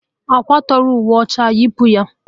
Akwataghi uwe ọcha a, yipu ya!